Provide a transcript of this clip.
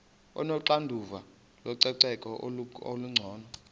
onoxanduva lococeko olungcono